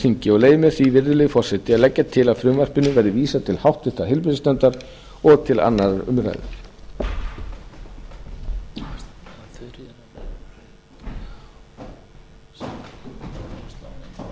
þingi og leyfi mér því virðulegi forseti að leggja til að frumvarpinu verði vísað til háttvirtrar heilbrigðisnefndar og til annarrar umræðu